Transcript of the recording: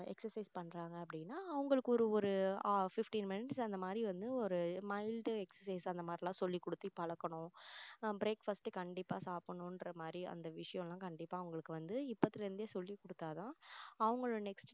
exercise பண்றாங்க அப்படின்னா அவங்களுக்கு ஒரு ஒரு fifteen minutes அந்த மாதிரி வந்து ஒரு mild exercise அந்த மாதிரி எல்லாம் சொல்லிக் கொடுத்து பழக்கணும் ஆஹ் breakfast கண்டிப்பா சாப்பிடணும்ற மாதிரி அந்த விஷயம் எல்லாம் கண்டிப்பா அவங்களுக்கு வந்து இப்பத்துல இருந்து சொல்லிக் கொடுத்தா தான் அவங்களோட next